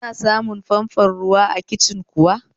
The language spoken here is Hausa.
Ana samun famfon ruwa a kicin kuwa?